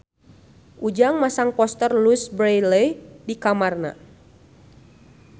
Ujang masang poster Louise Brealey di kamarna